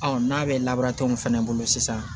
n'a bɛ labaara tɔn min fɛnɛ bolo sisan